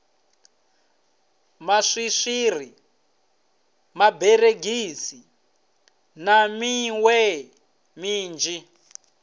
maswiri maberegisi na miṋwe minzhi